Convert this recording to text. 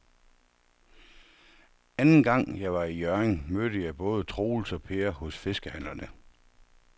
Anden gang jeg var i Hjørring, mødte jeg både Troels og Per hos fiskehandlerne.